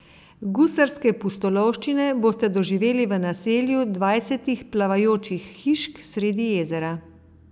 Gusarske pustolovščine boste doživeli v naselju dvajsetih plavajočih hišk sredi jezera.